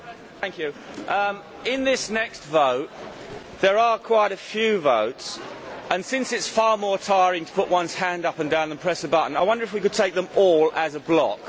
Mr President, in this next vote there are quite a few votes and, since it is far more tiring to put one's hand up and down than press a button, I wonder if we could take them all as a block?